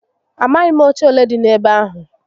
Amaghi m oche ole di n'ebe ahu